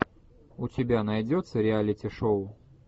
у тебя найдется реалити шоу